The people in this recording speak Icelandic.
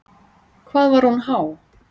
Hvað var hún há?